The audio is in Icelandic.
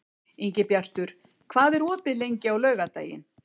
Ingibjartur, hvað er opið lengi á laugardaginn?